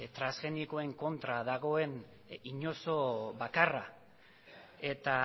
transgenikoen kontra nagoen inozo bakarra eta